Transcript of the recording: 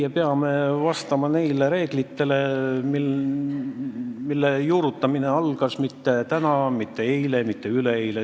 Me peame vastama neile reeglitele, mille juurutamine ei alanud mitte täna, eile ega üleeile.